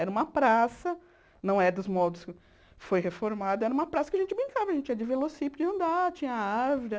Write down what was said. Era uma praça, não é dos modos que foi reformada, era uma praça que a gente brincava, a gente ia de velocípede andar, tinha árvore.